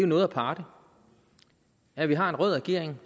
noget aparte at vi har en rød regering